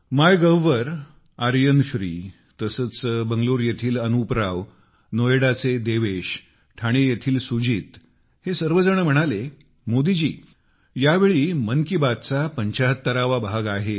MyGov येथे आर्यन श्री बंगलोर येथील अनुप राव नोएडाचे देवेश ठाणे येथील सुजित हे सर्वजण म्हणाले मोदी जी यावेळी मन की बातचा 75 वा भाग आहे